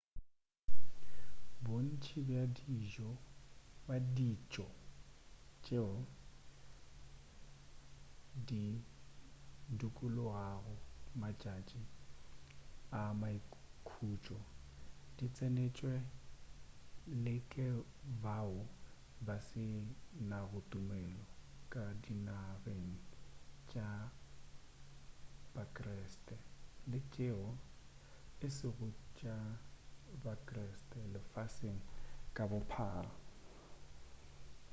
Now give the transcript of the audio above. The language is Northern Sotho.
bontši bja ditšo tšeo di dikologago matšatši a maikhutšo di tsenetšwe le ke bao ba se nago tumelo ka dinageng tša bakreste le tšeo e sego tša ba-kreste lefaseng ka bophara